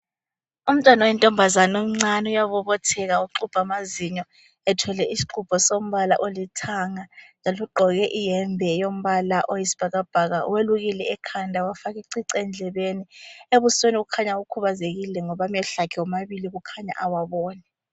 Umntwana oyintombazane omncane uyabobotheka uxubha amazinyo ethwele isixubho sombala olithanga njalo ugqoke iyembe yombala oyisibhakabhaka welukile ekhanda wafaka icici endlebeni ebusweni kukhanya ukhubazekile ngoba amehlo akhe omabili khanya awaboni.